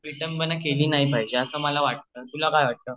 विटंबना केली नाही पाहिजे अस मला वाटत तुला काय वाटत 0:07:57.963213 0:07:58.732447 हा